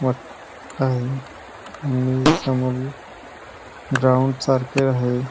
मोठ आहे आणि समोर ग्राउंड सारखे आहे.